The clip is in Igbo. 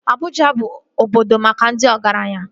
Abuja bụ obodo maka ndị ọgaranya